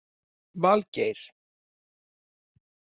Valgeir